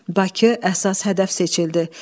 Bakı əsas hədəf seçildi.